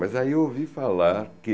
Mas aí eu ouvi falar que